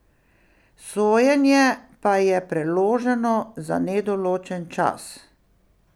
Sojenje pa je preloženo za nedoločen čas.